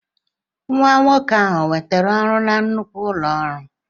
Nwa nwoke ahụ ọ nwetara ọrụ na nnukwu ụlọ ọrụ?